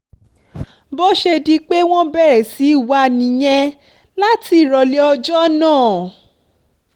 bó ṣe di pé wọ́n bẹ̀rẹ̀ sí í wá a nìyẹn láti ìrọ̀lẹ́ ọjọ́ náà